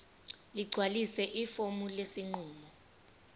ligcwalise ifomu lesinqumo